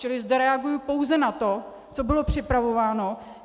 Čili zde reaguji pouze na to, co bylo připravováno.